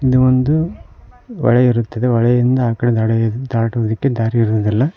ಇಲ್ಲಿ ಒಂದು ಹೊಳೆ ಇರುತ್ತದೆ ಹೊಳೆಯಿಂದ ಆಕಡೆ ದಡ ಏರಿ ದಾಟುವುಕ್ಕೆ ದಾರಿ ಇರುವುದಿಲ್ಲ.